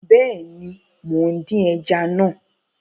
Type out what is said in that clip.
Bẹẹni, Mo n din ẹja naa